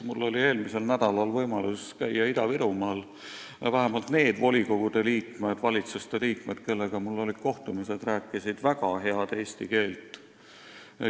Mul oli eelmisel nädalal võimalus käia Ida-Virumaal ja vähemalt need volikogude ning linna- ja vallavalitsuste liikmed, kellega ma kohtusin, rääkisid väga head eesti keelt.